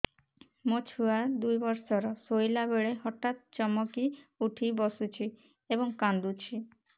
ମୋ ଛୁଆ ଦୁଇ ବର୍ଷର ଶୋଇଲା ବେଳେ ହଠାତ୍ ଚମକି ଉଠି ବସୁଛି ଏବଂ କାଂଦୁଛି